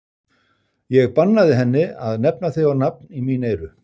Ég bannaði henni að nefna þig á nafn í mín eyru.